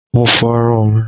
Mo fọ irun mi